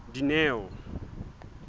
dineo